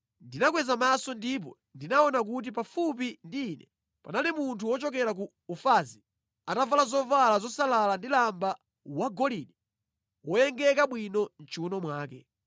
ndinakweza maso ndipo ndinaona kuti pafupi ndi ine panali munthu wochokera ku Ufazi atavala zovala zosalala ndi lamba wa golide woyengeka bwino mʼchiwuno mwake.